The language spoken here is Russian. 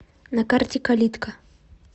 на карте калитка